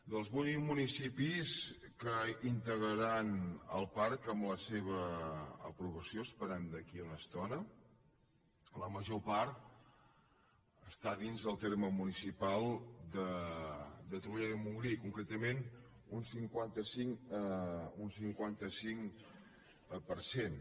dels vuit municipis que integraran el parc amb la seva aprovació esperem d’aquí a una estona la major està dins del terme muni·cipal de torroella de montgrí concretament un cinquanta cinc per cent